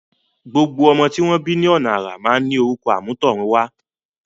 Gbogbo ọmọ tí wọ́n bí ọ̀nà àrà máa ń ní orúkọ àmútọ̀runwá.